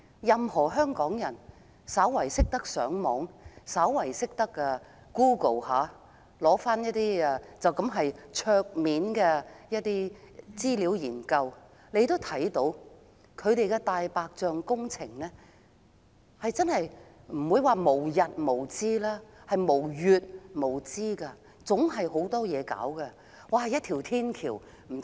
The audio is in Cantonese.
任何香港人只要略懂上網、略懂使用 Google 搜尋資料，簡單翻查一下網上的資料研究，便會知道政府"大白象"工程即使不是無日無之，也是無月無之，總是有很多工程要進行。